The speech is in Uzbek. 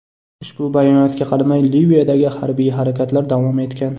Ushbu bayonotga qaramay Liviyadagi harbiy harakatlar davom etgan.